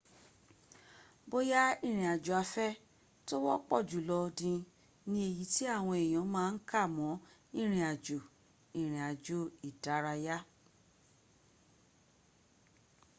bóyá ìrìn àjò afẹ́ tó wọ́ pọ̀jù lọ ní ní èyi tí àwọn èyàn ma ń kà mọ́ ìrìn àjò: ìrìn àjò ìdárayá